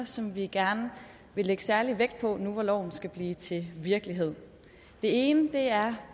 som vi gerne vil lægge særlig vægt på nu hvor loven skal blive til virkelighed den ene er